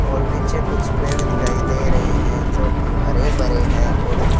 और पीछे कुछ पेड़ दिखाई दे रहे है जो की हरे भरे है और उन--